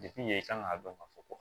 yen i kan k'a dɔn ka fɔ ko